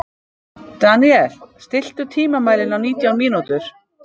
Daniel, stilltu tímamælinn á nítján mínútur.